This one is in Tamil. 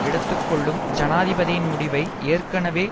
எடுத்து கொள்ளும் ஜனாதிபதியின் முடிவை ஏற்கனவே